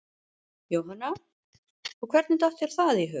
Jóhanna: Og hvernig datt þér það í hug?